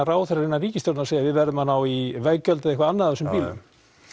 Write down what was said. ráðherrar innan ríkisstjórnarinnar og við verðum að ná í veggjöld eða eitthvað annað á þessum bílum